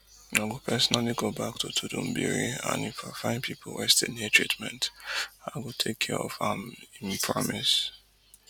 i go personally go back to tudunbiri and if i find pipo wey still need treatment i go take care of am im promise